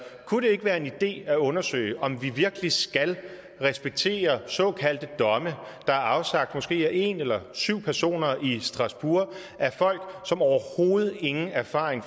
kunne det ikke være en idé at undersøge om vi virkelig skal respektere såkaldte domme der er afsagt af måske en eller syv personer i strasbourg af folk som overhovedet ingen erfaring